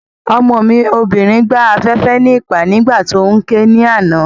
Ọmọ mi obìnrin gbá afẹ́fẹ́ níìpá nígbà tí óún ké ní àná